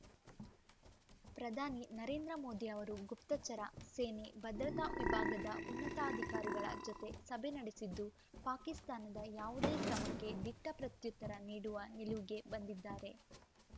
ಪ್ರಧಾನಿ ನರೇಂದ್ರ ಮೋದಿ ಅವರು ಗುಪ್ತಚರ ಸೇನೆ ಭದ್ರತಾ ವಿಭಾಗದ ಉನ್ನತಾಧಿಕಾರಿಗಳ ಜತೆ ಸಭೆ ನಡೆಸಿದ್ದು ಪಾಕಿಸ್ತಾನದ ಯಾವುದೇ ಕ್ರಮಕ್ಕೆ ದಿಟ್ಟಪ್ರತ್ಯುತ್ತರ ನೀಡುವ ನಿಲುವಿಗೆ ಬಂದಿದ್ದಾರೆ